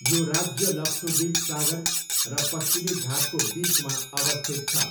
यो राज्य लक्षद्वीप सागर र पश्चिमी घाटको बिचमा अवस्थित छ।